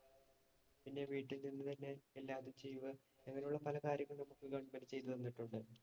പിന്നെ വീട്ടില്‍ നിന്ന് തന്നെ എല്ലാവരും ചെയ്യുക. അങ്ങനെയുള്ള പലകാര്യങ്ങളും നമുക്ക് government ചെയ്തു തന്നിട്ടുണ്ട്.